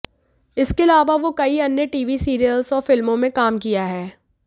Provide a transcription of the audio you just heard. इसके अलावा वो कई अन्य टीवी सीरियल्स और फिल्मों में काम किया हैं